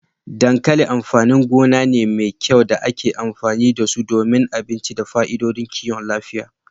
Dankali amfanin gona ne mai kai da ake amfani da su don abinci da fa'idodin kiwon lafiya.